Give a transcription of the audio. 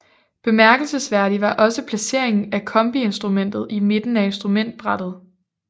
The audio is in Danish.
Bemærkelsesværdigt var også placeringen af kombiinstrumentet i midten af instrumentbrættet